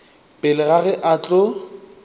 pele ga ge a tlo